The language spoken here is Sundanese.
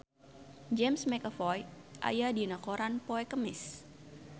James McAvoy aya dina koran poe Kemis